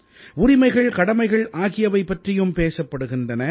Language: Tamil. உரிமைகள்கடமைகள் ஆகியவை பற்றியும் பேசப்படுகின்றன